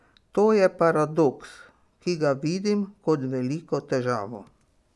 To je paradoks, ki ga vidim kot veliko težavo.